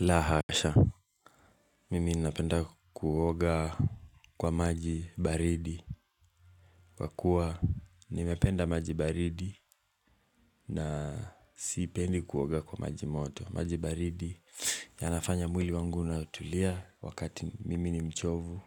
La hasha. Mimi ninapenda kuoga kwa maji baridi. Kwa kuwa nimependa maji baridi na sipendi kuoga kwa maji moto, maji baridi yanafanya mwili wangu unatulia wakati mimi ni mchovu.